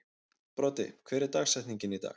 Broddi, hver er dagsetningin í dag?